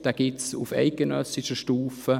Diesen gibt es auf eidgenössischer Stufe.